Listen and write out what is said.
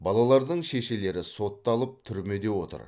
балалардың шешелері сотталып түрмеде отыр